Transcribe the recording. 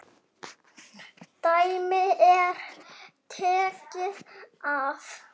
Dæmi er tekið af